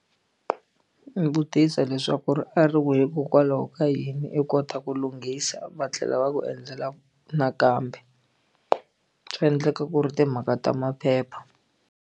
Vutisa leswaku ri a ri wile hikokwalaho ka yini i kota ku lunghisa va tlhela va ku endlela nakambe swa endleka ku ri timhaka ta maphepha.